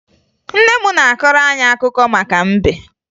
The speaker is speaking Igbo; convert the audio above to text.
Nne m na-akọrọ anyị akụkọ maka mbe